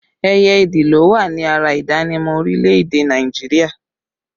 Ẹyẹ ìdì ló wà ní ara ìdánimọ̀ orílẹ̀ èdè Nàìjíríà